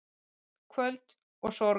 Kvöl og sorg